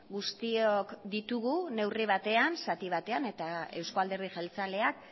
guztiok ditugu neurri batean zati batean eta euzko alderdi jeltzaleak